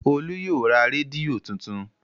Olú yóò ra rédíò tuntun.